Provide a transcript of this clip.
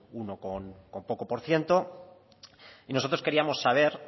uno con poco por ciento y nosotros queríamos saber